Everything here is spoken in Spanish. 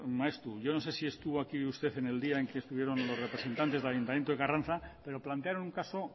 maeztu yo no sé si estuvo aquí usted en el día en el que estuvieron los representantes del ayuntamiento de karrantza pero plantearon un caso